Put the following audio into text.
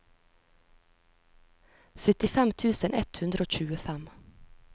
syttifem tusen ett hundre og tjuefem